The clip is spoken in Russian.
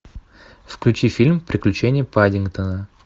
включи фильм приключения паддингтона